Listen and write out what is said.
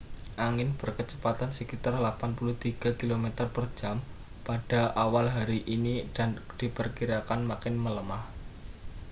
angin berkecepatan sekitar 83 km/jam pada awal hari ini dan diperkirakan makin melemah